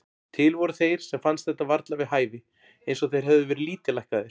Til voru þeir sem fannst þetta varla við hæfi, eins og þeir hefðu verið lítillækkaðir.